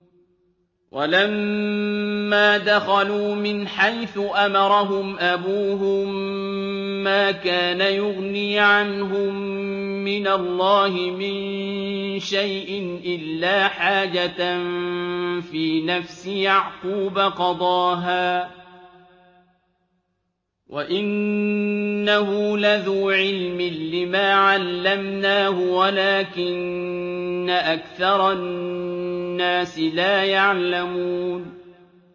وَلَمَّا دَخَلُوا مِنْ حَيْثُ أَمَرَهُمْ أَبُوهُم مَّا كَانَ يُغْنِي عَنْهُم مِّنَ اللَّهِ مِن شَيْءٍ إِلَّا حَاجَةً فِي نَفْسِ يَعْقُوبَ قَضَاهَا ۚ وَإِنَّهُ لَذُو عِلْمٍ لِّمَا عَلَّمْنَاهُ وَلَٰكِنَّ أَكْثَرَ النَّاسِ لَا يَعْلَمُونَ